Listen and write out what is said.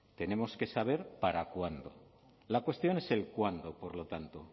tenemos que saber para cuándo la cuestión es el cuándo por lo tanto